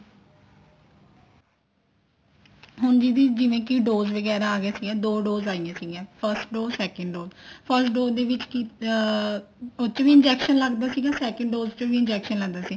ਹੁਣ ਦੀਦੀ ਜਿਵੇਂ ਕੀ dose ਅਗੀਆਂ ਸੀਗੀਆਂ ਦੋ dose ਆਈਆਂ ਸੀਗੀਆ first dose second dose first dose ਦੇ ਵਿੱਚ ਅਮ ਉਹ ਚ ਵੀ injection ਲੱਗਦਾ ਸੀਗਾ second dose ਚ ਵੀ injection ਲੱਗਦਾ ਸੀ